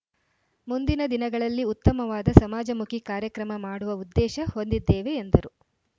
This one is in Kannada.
ಮುಂದಿನ ದಿನಗಳಲ್ಲಿ ಉತ್ತಮವಾದ ಸಮಾಜಮುಖಿ ಕಾರ್ಯಕ್ರಮ ಮಾಡುವ ಉದ್ದೇಶ ಹೊಂದಿದ್ದೇವೆ ಎಂದರು